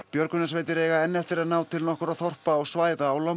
björgunarsveitir eiga enn eftir að ná til nokkurra þorpa og svæða á